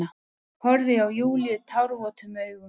Horfði á Júlíu tárvotum augum.